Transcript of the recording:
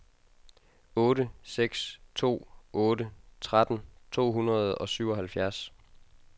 otte seks to otte tretten to hundrede og syvoghalvfjerds